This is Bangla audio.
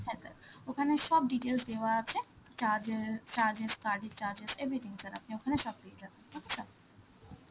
হ্যাঁ sir, ওখানে সব details দেওয়া আছে, charges~, charges, card এর charges, everything sir আপনি ওখানে সব পেয়ে যাবেন, okay sir?